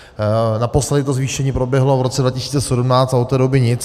Naposledy to zvýšení proběhlo v roce 2017 a od té doby nic.